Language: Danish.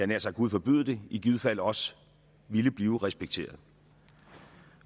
nær sagt gud forbyde det i givet fald også ville blive respekteret